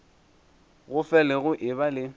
go fele go eba le